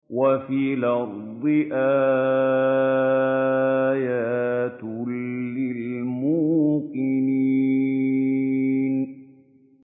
وَفِي الْأَرْضِ آيَاتٌ لِّلْمُوقِنِينَ